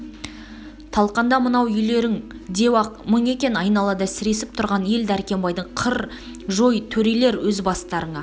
талқанда мынау үйлерін деу-ақ мұң екен айналада сіресіп тұрған ел дәркембайдың қыр жой төрелер өз бастарына